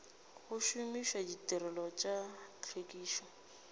go šomiša ditirelo tša tlhwekišo